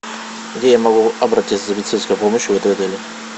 где я могу обратиться за медицинской помощью в этом отеле